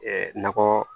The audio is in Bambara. nɔgɔ